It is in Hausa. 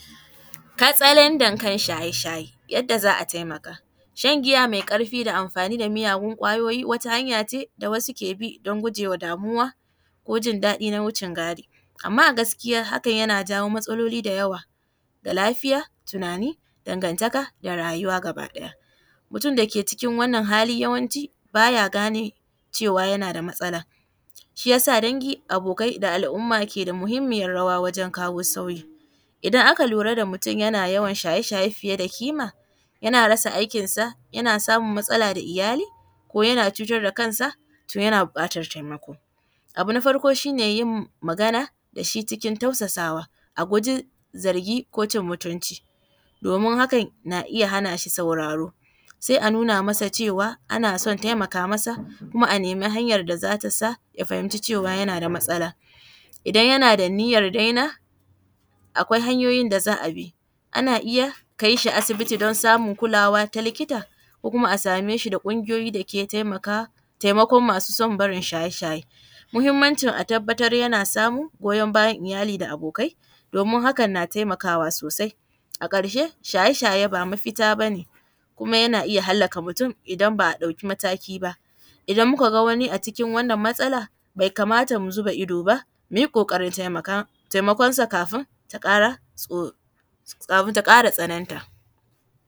Katsalandan kan shaye-shaye, yadda za a taimaka. Shan giya mai ƙarfi da amfani da miyagun ƙwayoyi wata hanya ce da wasu ke bi don gujewa damuwa ko jin daɗi na wucin gadi, amma a gaskiya hakan yana jawo matsaloli dayawa ga lafiya, tunani, dagantaka da rayuwa gaba ɗaya. Mutum dake cikin wannan hali yawanci ba ya gane cewa yana da matsalan, shiyasa dangi da abokai da al’umma ke da muhimmiyar rawa wajen kawo sauyi. Idan aka lura da mutum yana yawan shaye-shaye fiye da ƙima yana rasa aikinsa, yana samun matsala da iyali ko yana cutar da kansa to yana buƙatar taimako. Abu na farko shi ne yin magana da shi cikin tausasawa, a guji zargi ko cin mutunci domin hakan na iya hana shi sauraro, sai a nuna masa cewa ana son taimaka masa, kuma a nemi hanyar da za ta sa ya fahimci cewa yana da matsala. Idan yana da niyyar daina akwai hanyoyin da za a bi, ana iya kai shi asibiti don samu kulawa ta likita, ko kuma a same shi da ƙungiyoyi dake taimaka, taimakon masu son barin shaye-shaye. Muhimmancin a tabbatar yana samun goyon bayan iyali da abokai, domin hakan na taimakawa sosai. A ƙarshe shaye-shaye ba mafita bane kuma yana iya hallaka mutum idan ba a ɗauki mataki ba, idan muka ga wani acikin wannan matsala bai kamata mu zuba ido ba, mu yi ƙoƙarin taimaka taimakonsa kafin ta ƙara tso, kafin ta ƙara tsananta.